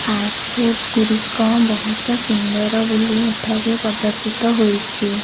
Fast food ଗୁଡି଼କ ବୋହୁତ ସୁନ୍ଦର ବୋଲି ଏଠାରେ ପଦରଶ୍ରିତ ହୋଇଛି।